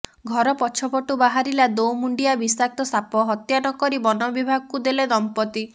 ଘର ପଛପଟୁ ବାହାରିଲା ଦୋମୁଣ୍ଡିଆ ବିଷାକ୍ତ ସାପ ହତ୍ୟା ନ କରି ବନବିଭାଗକୁ ଦେଲେ ଦମ୍ପତି